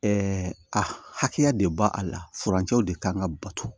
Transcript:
a hakɛya de ba a la furancɛw de kan ka bato